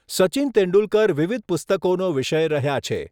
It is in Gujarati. સચિન તેંડુલકર વિવિધ પુસ્તકોનો વિષય રહ્યા છે.